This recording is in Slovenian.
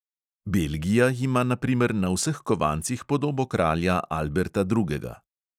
Belgija ima na primer na vseh kovancih podobo kralja alberta drugega